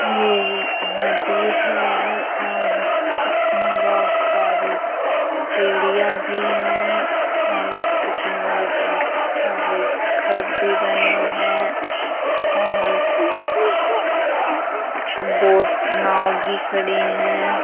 ये एक नदी है और इसमें बहोत सारी चिड़ियां भी हैं और इसके किनारे बहोत सारे घर भी बने हैं और बोट नाव भी खड़ी हैं।